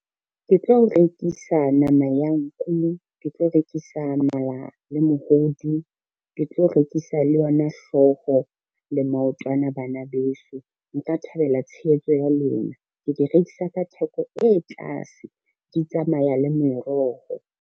Ke tlo rekisa nama ya nku, ke tlo rekisa mala le mohodu, ke tlo rekisa le yona hlooho le maotwana bana beso, nka thabela tshehetso ya lona. Ke di rekisa ka theko e tlase, di tsamaya le meroho.